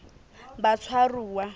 batshwaruwa